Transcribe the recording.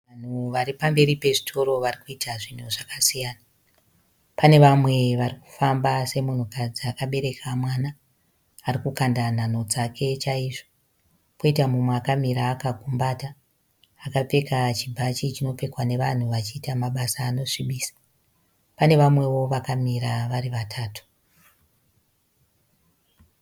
Vanhu varipamberi pezvitoro vari kuita zvinhu zvakasiyana. Pane vamwe vari kufamba, semunhukadzi akabereka mwana arikukanda nhanho dzake chaizvo. Koita mumwe akamira akagumbata akapfeka chibhachi chinopfekwa nevanhu vachiita mabasa anosvibisa. Pane vamwewo vakamira vari vatatu.